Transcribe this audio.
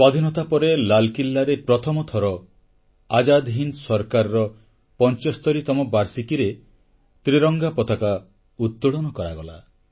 ସ୍ୱାଧୀନତା ପରେ ଲାଲକିଲ୍ଲାରେ ପ୍ରଥମ ଥର ଆଜାଦ ହିନ୍ଦ ସରକାରର 75ତମ ବାର୍ଷିକୀରେ ତ୍ରିରଙ୍ଗ ପତାକା ଉତ୍ତୋଳନ କରାଗଲା